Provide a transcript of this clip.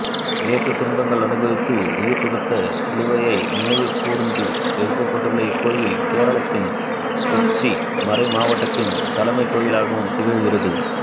இயேசு துன்பங்கள் அனுபவித்து உயிர்துறந்த சிலுவையை நினைவுகூர்ந்து எழுப்பப்பட்டுள்ள இக்கோவில் கேரளத்தின் கொச்சி மறைமாவட்டத்தின் தலைமைக் கோவிலாகவும் திகழ்கிறது